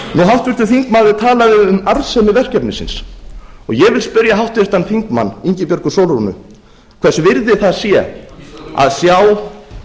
háttvirtur þingmaður talaði um arðsemi verkefnisins ég vil spyrja háttvirtan þingmann ingibjörgu sólrúnu hvers virði það sé að sjá